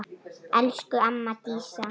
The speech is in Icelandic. Elsku amma Dísa.